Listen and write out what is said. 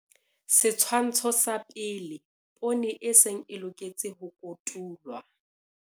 Setshwantsho sa 1. Poone e seng e loketse ho kotulwa.